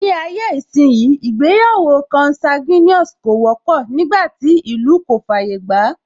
Ní ayé ìsínyi, ìgbéyàwó consanguine kò wọ́pọ̀, nígbàtí ìlú kò fàyè gbàá